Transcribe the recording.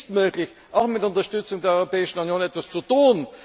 Es ist möglich, auch mit Unterstützung der Europäischen Union etwas zu tun.